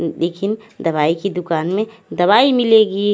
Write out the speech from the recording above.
लेकिन दवाई की दुकान में दवाई मिलेगी।